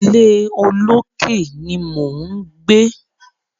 Ilé olókè ni mò ń gbé.